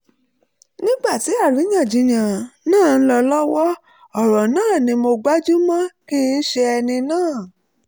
nígbà tí àríyànjiyàn náà ń lọ lọ́wọ́ ọ̀rọ̀ náà ni mo gbájú mọ́ kì í ṣe ẹni náà